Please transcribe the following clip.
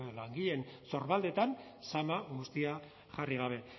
langileen sorbaldetan zama guztia jarri gabe